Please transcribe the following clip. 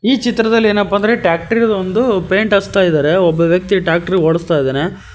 ಈ ಚಿತ್ರದಲ್ಲಿ ಏನಪ್ಪಾ ಅಂದ್ರೆ ಟ್ಯಾಕ್ಟರ ಇದೊಂದು ಪೈಂಟ್ ಹಚ್ಚತಾ ಇದಾರೆ ಒಬ್ಬ ವ್ಯಕ್ತಿ ಟ್ಯಾಕ್ಟರ ಓಡಸ್ತಾ ಇದಾನೆ.